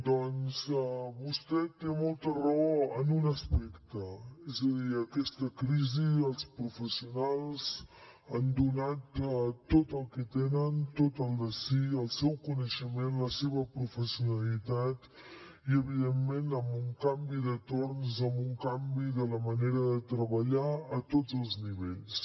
doncs vostè té molta raó en un aspecte és a dir en aquesta crisi els professionals han donat tot el que tenen tot el de si el seu coneixement la seva professionalitat i evidentment amb un canvi de torns amb un canvi de la manera de treballar a tots els nivells